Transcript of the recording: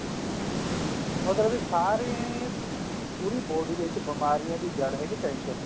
ਮਤਲਬ ਕਿ ਸਾਰੀ ਪੂਰੀ body ਦੇ ਵਿੱਚ ਬੀਮਾਰੀਆਂ ਦੀ ਜੜ ਹੈਗੀ tension